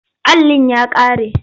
Allin ya ƙare.